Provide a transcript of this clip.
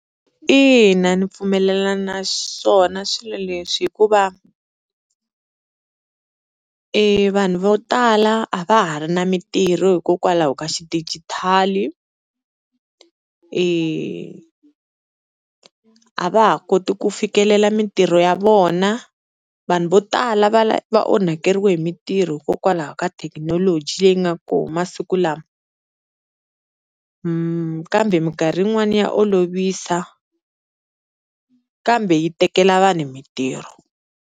Ina ni pfumelela naswona swilo leswi hikuva i vanhu vo tala a va ha ri na mintirho hikokwalaho ka xidigitali, a va ha koti ku fikelela mintirho ya vona vanhu vo tala va va onhakeriwe hi mitirho hikokwalaho ka thekinoloji leyi nga kona masiku lama, kambe minkarhi yin'wani ya olovisa kambe yi tekela vanhu mintirho.